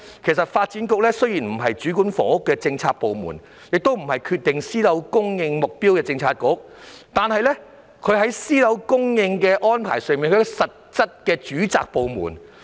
雖然發展局不是主管房屋，亦不是決定私樓供應目標的政策局，但發展局是私樓供應的實際主責部門。